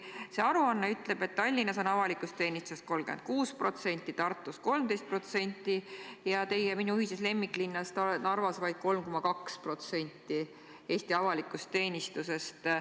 See aruanne ütleb, et Tallinnas on avalikus teenistuses 36%, Tartus 13%, aga teie ning minu ühises lemmiklinnas Narvas vaid 3,2% Eesti avalikust teenistusest.